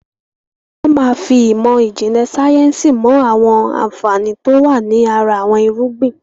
Wọn máa fi ìmọ̀ ìjìnlẹ̀ sayẹ́nsi mo àwọn àǹfààní to wá ní ara àwọn irúgbìn